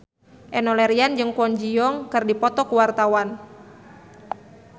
Enno Lerian jeung Kwon Ji Yong keur dipoto ku wartawan